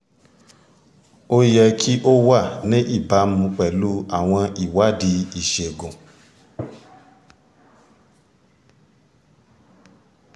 ó yẹ kí ó wà ní ìbámu pẹ̀lú àwọn ìwádìí ìṣègùn